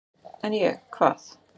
"""En ég, hvað?"""